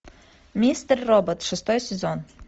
мистер робот шестой сезон